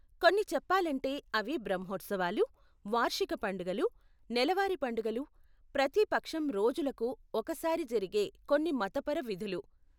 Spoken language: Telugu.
కొన్ని చెప్పాలంటే, అవి బ్రహ్మోత్సవాలు, వార్షిక పండుగలు, నెలవారీ పండుగలు, ప్రతి పక్షం రోజులకు ఒకసారి జరిగే కొన్ని మతపర విధులు.